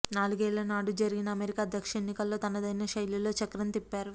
నాలుగేళ్ల నాడు జరిగిన అమెరికా అధ్యక్ష ఎన్నికల్లో తనదైన శైలిలో చక్రం తిప్పారు